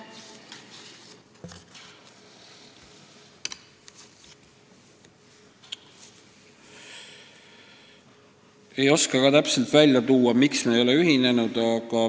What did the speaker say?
Ei oska öelda, miks me ei ole ühinenud.